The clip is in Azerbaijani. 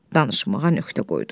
danışmağa nöqtə qoydu.